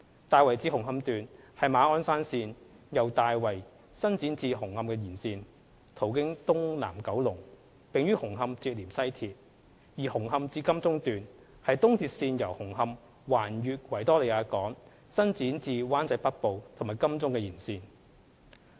大圍至紅磡段是馬鞍山線由大圍伸展至紅磡的延線，途經東南九龍，並於紅磡連接西鐵；而紅磡至金鐘段是東鐵線由紅磡橫越維多利亞港伸展至灣仔北部和金鐘的延線。